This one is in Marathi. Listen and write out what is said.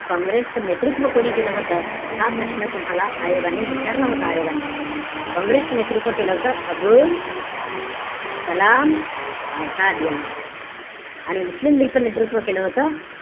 काँग्रेस च नेतृत्व कोणी केलं होतं? हा प्रश्न तुम्हाला आयोगाने विचारला होता आयोगाने. काँग्रेस च नेतृत्व केलं होतं अबुल कलाम आझाद यांनी. आणि मुस्लिम लीग च नेतृत्व केलं होतं?